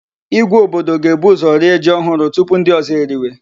Ìgwè obodo ga-ebu ụzọ rie ji ohụrụ tupu ndị ozo eriwe.